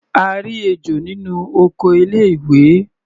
A rí ejò nínú oko ilé ìwé.